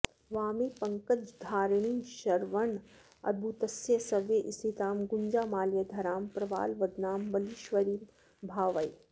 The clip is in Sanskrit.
वामे पङ्कजधारिणी शरवणोद्भूतस्य सव्ये स्थितां गुञ्जामाल्यधरां प्रवालवदनां वल्लीश्वरीं भावये